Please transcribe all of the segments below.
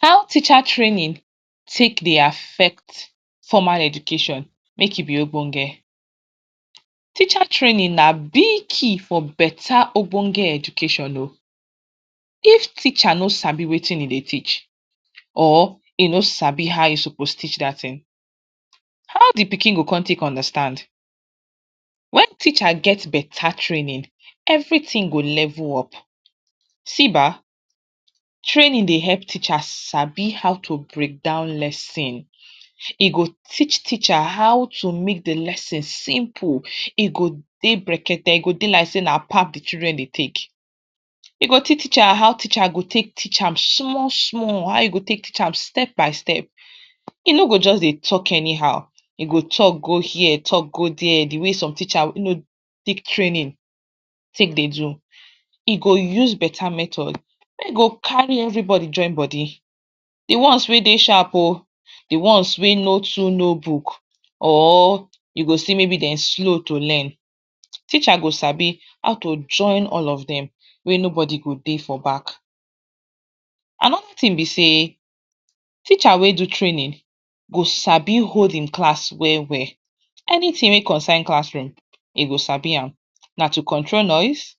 How teacher training take dey affect formal education make e be Obonge, teacher training na big key for better Obonge education oh, if teacher ni sabi Wetin hin dey teach, or hin ni sabi how hin suppose teach dat thing how de pikin go con take understand, wen teacher get better training, everything go level up, see ba training dey help teachers sabi how to break down lesson, e go t achieve teacher how to make de lesson simple, e go dey breakers e go dey like sey na pap de children dey take, dem go teach teacher how teacher go take an small small, how he go take teach am step by step, e no go just dey talk anyhow, e go talk go here talk go there, de way some teacher wey no take training take dey do, he go use better method, wey go carry everybody join body, de ones wey dey sharp oh, de ones wey no too no book, or u go see maybe dem slow to learn, teacher go sabi how to join all of dem, wey nobody go dey for back, another thing be set teacher wey do training go sabi hold hin class well well, anything wey concern classroom hin go sabi am, na to control noise?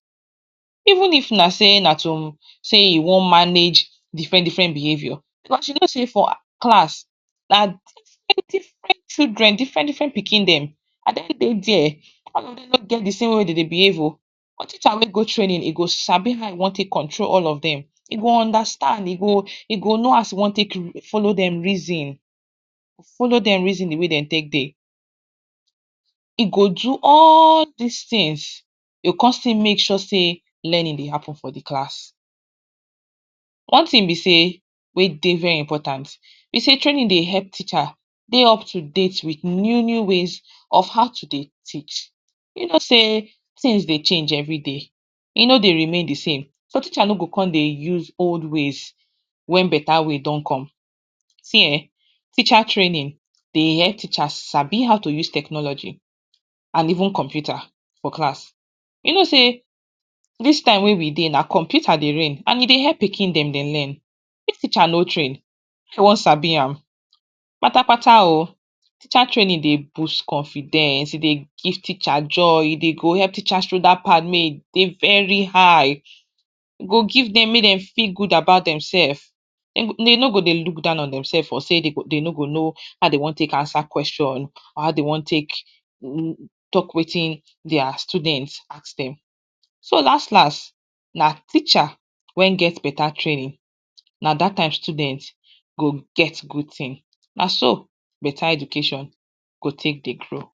Even if na sey na to sey u wan manage different different behavior, as you know sey for class, na different different children, different different pikin dem, na dem dey there, all of dem no get thesame way dem dey behave oh, na teacher wey go training hin go sabi how he wan train all of dem, he go understand he go know as he wan take no dem reason, go follow dem reason de way dem. Take dey, e go do all dis things he go con still make sure sey learning dey happen for de class, one thing be sey wey dey very important, b sey training dey help teacher dey up to date with new new ways of how to dey teach, u know sey things dey change everyday, e no dey remain desame so teachers no go con dey use old ways wen better way don come, see um teacher trading dey let teachers sabi how to use technology and even computer for class, u know sey dis time wey we dey na computer dey reign and e dey help pikin dem dey learn, if teacher no train how e wan sabi am, teacher training dey boost confidence e dey give teacher joy e dey go help teacher pride make e dey very high, e go give dem make dem feel very good about dem self, dem no go dey look down on dem self or dey make sey dem no go dey know how to answer question, or how dey wan take talk Wetin dia student ask dem, si last last na teacher wey get better traing na dat time students go get good thing, naso better education go take dey grow.